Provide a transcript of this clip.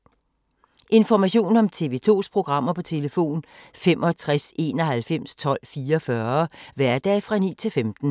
Information om TV 2's programmer: 65 91 12 44, hverdage 9-15.